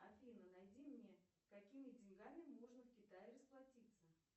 афина найди мне какими деньгами можно в китае расплатиться